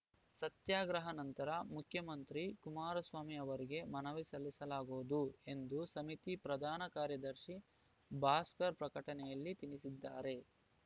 ಸತ್ಯಾಗ್ರಹ ನಂತರ ಮುಖ್ಯಮಂತ್ರಿ ಕುಮಾರಸ್ವಾಮಿ ಅವರಿಗೆ ಮನವಿ ಸಲ್ಲಿಸಲಾಗುವುದು ಎಂದು ಸಮಿತಿ ಪ್ರಧಾನ ಕಾರ್ಯದರ್ಶಿ ಭಾಸ್ಕರ್‌ ಪ್ರಕಟಣೆಯಲ್ಲಿ ತಿಳಿಸಿದ್ದಾರೆ